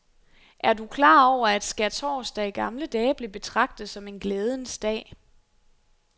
Er du klar over, at skærtorsdag i gamle dage blev betragtet som en glædens dag?